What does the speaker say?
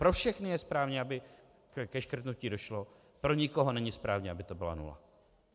Pro všechny je správné, aby ke škrtnutí došlo, pro nikoho není správné, aby to byla nula.